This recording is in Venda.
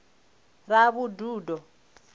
ravhududo